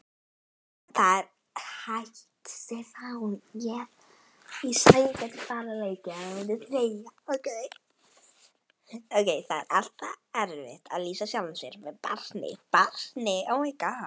Það er alltaf erfitt að lýsa sjálfum sér sem barni.